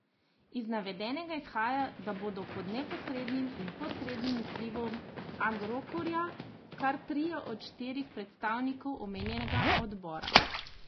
Iz navedenega izhaja, da bodo pod neposrednim in posrednim vplivom Agrokorja kar trije od štirih predstavnikov omenjenega odbora.